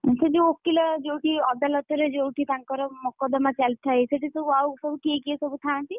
ସେ ଯୋଉ ଓକିଲ ଯୋଉଠି ଅଦାଲତରେ ଯୋଉଠି ତାଙ୍କର ମକଦ୍ଦମା ଚାଲିଥାଏ ସେଠି ସବୁ ଆଉ ସବୁ କିଏ କିଏ ସବୁ ଥାଆନ୍ତି?